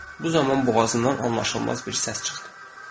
Bu zaman boğazından anlaşılmaz bir səs çıxdı.